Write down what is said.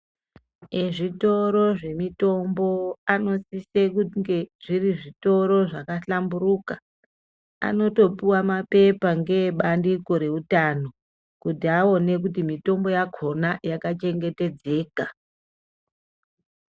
Ezvitoro zvemitombo anosise kunge zviri zvitoro zvakahlamburuka. Anotopuva mapepa ngeeutano kuti aona kuti mitombo yakona yakachengetedzeka.